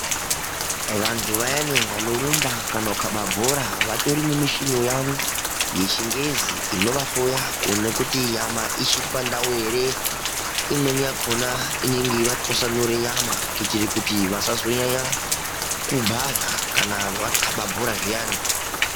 Vantu vayani vanorumba kana kukhaba bhora, vatori nemichini yavo yechingezi inovahloya kuone kuti nyama ichiri pandau ere. Imweni yakhona, inenge yeivatwasanure nyama, kuitire kuti vasazonyanya kubhadhla kana vakhaba bhora zviyani.